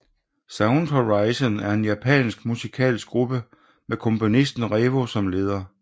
Sound Horizon er en japansk musikalsk gruppe med komponisten Revo som leder